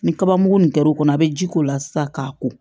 Ni kaba mugu nin kɛr'o kɔnɔ a bɛ ji k'o la sisan k'a ko